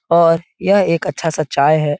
और यह एक अच्छा सा चाय है।